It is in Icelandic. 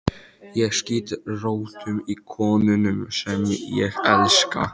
Ég skýt rótum í konunum sem ég elska.